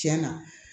Tiɲɛna